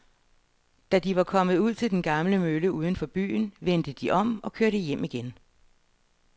Da de var kommet ud til den gamle mølle uden for byen, vendte de om og kørte hjem igen.